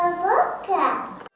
Qağabaqa.